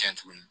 Kɛ tuguni